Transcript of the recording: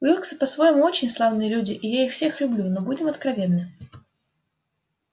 уилксы по-своему очень славные люди и я их всех люблю но будем откровенны